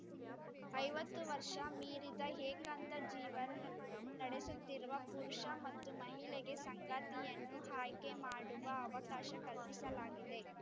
ಐವತ್ತು ವರ್ಷ ಮೀರಿದ ಏಕಾಂತ ಜೀವನ ನಡೆಸುತ್ತಿರುವ ಪುರುಷ ಮತ್ತು ಮಹಿಳೆಗೆ ಸಂಗಾತಿಯನ್ನು ಆಯ್ಕೆ ಮಾಡುವ ಅವಕಾಶ ಕಲ್ಪಿಸಲಾಗಿದೆ